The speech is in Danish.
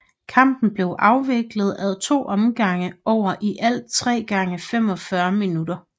Kampen blev afviklet ad to omgange over i alt 3 x 45 minutter